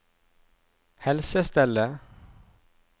helsestellet